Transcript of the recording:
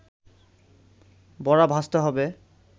বড়া ভাজতে হবে